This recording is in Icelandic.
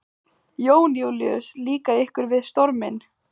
Jón Júlíus: Líkar ykkur við storminn?